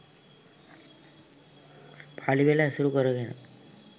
පාලි පෙළ ඇසුරු කරගෙන